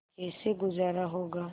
कैसे गुजारा होगा